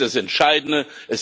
Das ist das Entscheidende.